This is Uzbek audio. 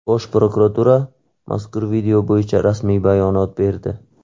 Bosh prokuratura mazkur video bo‘yicha rasmiy bayonot berdi.